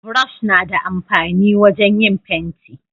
burosh na da amfani wajen yin fenti